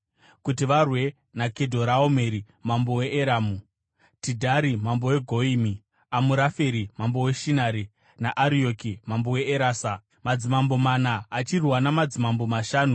kuti varwe naKedhoraomeri mambo weEramu, Tidhari mambo weGoyimi, Amuraferi mambo weShinari naArioki mambo weErasa, madzimambo mana achirwa namadzimambo mashanu.